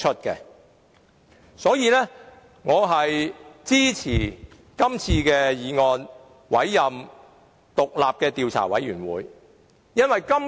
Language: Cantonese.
因此，我支持這項議案，委任獨立的調查委員會。